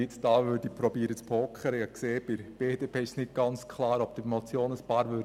Ich habe festgestellt, dass seitens der BDP nicht ganz klar ist, ob einige der Motion zustimmen werden.